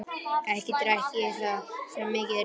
Ekki drekk ég það, svo mikið er víst.